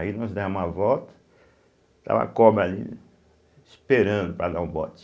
Aí nós damos a volta, estava a cobra ali, esperando para dar o bote.